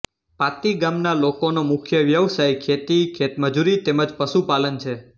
પાતી ગામના લોકોનો મુખ્ય વ્યવસાય ખેતી ખેતમજૂરી તેમ જ પશુપાલન છે